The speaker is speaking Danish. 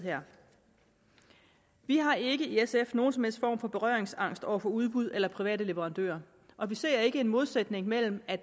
vi har i sf ikke nogen som helst form for berøringsangst over for udbud eller private leverandører og vi ser ikke en modsætning mellem at